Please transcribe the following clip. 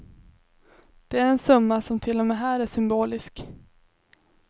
Det är en summa som till och med här är symbolisk.